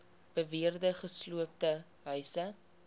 beweerde gesloopte huise